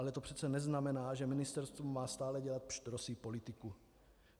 Ale to přece neznamená, že ministerstvo má stále dělat pštrosí politiku.